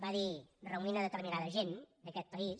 va dir reunint determinada gent d’aquest país